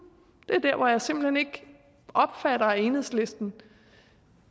det er her jeg simpelt hen ikke opfatter at enhedslisten